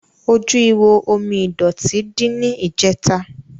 Ojú ihò omi ìdọ̀tí dí ní ìjẹ̀ta.